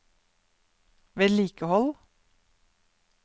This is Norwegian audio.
vedlikehold